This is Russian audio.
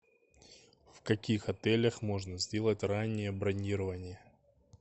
в каких отелях можно сделать раннее бронирование